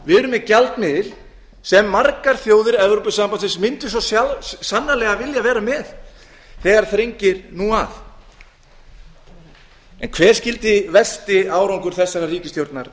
erum með gjaldmiðil sem margar þjóðir evrópusambandsins myndu svo sannarlega vilja vera með þegar þrengir nú að en hver skyldi versti árangur þessarar ríkisstjórnar